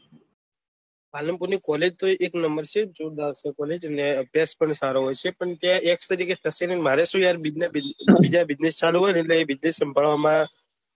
પાલનપુર ની college તો એક number છે જોરદાર છે college અને અબ્યાસ પણ સારો હોય છે મારે પણ સુ યાર બીજા business ચાલુ હોય ને એ business સંભાળવામાં